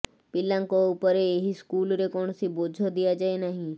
ପିଲାଙ୍କ ଉପରେ ଏହି ସ୍କୁଲରେ କୌଣସି ବୋଝ ଦିଆଯାଏ ନାହିଁ